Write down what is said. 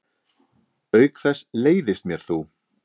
Auk þess leiðist mér þú.